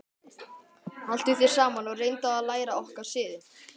Haltu þér saman og reyndu að læra okkar siði.